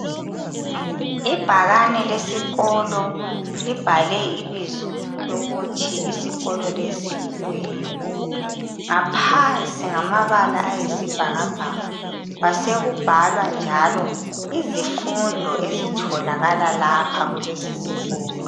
Ibhakane lesikolo libhalwe ibizo lokuthi isikolo lesi yikuyini. Ngaphansi ngamabala ayisibhakabhaka kwasekubhalwa njalo izifundo ezitholakalayo lapha kulesisikolo.